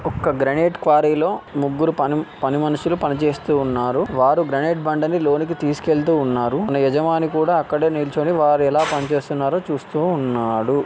ఒక్క గ్రానైట్ క్వారీలో ముగ్గురు పని-పని మనుషులు పని చేస్తూ ఉన్నారు వారు గ్రానైట్ బండను లోనికి తీసుకెళుతూ ఉన్నారు తన యజమాని కూడా అక్కడే నిల్చొని వాళ్ళు ఎలా పనిచేస్తున్నాడో చూస్తూ ఉన్నాడు